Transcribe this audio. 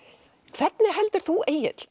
hvernig heldur þú Egill